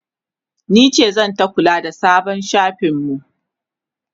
nice zanta kula da sabon shafin mu